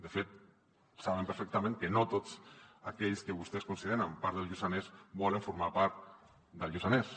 de fet saben perfectament que no tots aquells que vostès consideren part del lluçanès volen formar part del lluçanès